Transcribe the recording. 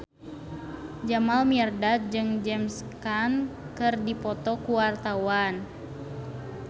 Jamal Mirdad jeung James Caan keur dipoto ku wartawan